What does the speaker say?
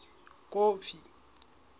kofi